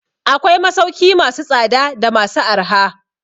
Akwai masauki masu tsada da masu arha.